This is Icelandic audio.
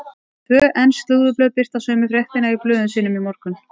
Tvö ensk slúðurblöð birta sömu fréttina í blöðum sínum í morgun.